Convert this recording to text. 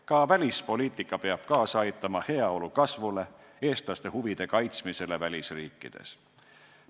Ka välispoliitika peab kaasa aitama heaolu kasvule ja eestlaste huvide kaitsmisele välisriikides.